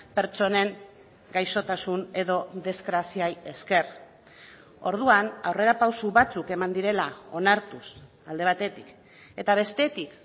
pertsonen gaixotasun edo desgraziei esker orduan aurrerapauso batzuk eman direla onartuz alde batetik eta bestetik